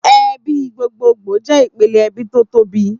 Èbí gbógbógbó jè ipélé èbí tó tóbi